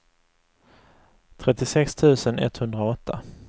trettiosex tusen etthundraåtta